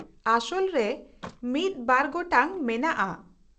-ᱟᱥᱚᱞ ᱨᱮ ᱢᱤᱫ ᱵᱟᱨ ᱜᱚᱴᱟᱝ ᱢᱮᱱᱟᱜᱼᱟ ᱾